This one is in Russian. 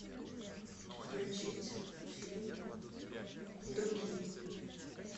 включить фильм другие